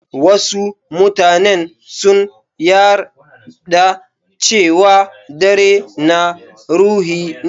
Wasu mutanen sun yarɗa cewa dare na ruhi ne.